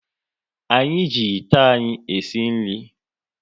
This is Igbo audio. Anyị ji ite anyị e si nri